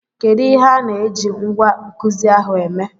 Kedu ihe a na-eji ngwá nkuzi ahụ eme?